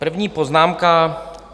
První poznámka.